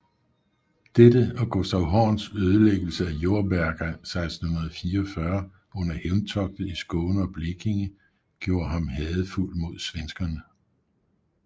Dette og Gustaf Horns ødelæggelse af Jordberga 1644 under hævntogtet i Skåne og Blekinge gjorde ham hadefuld mod svenskerne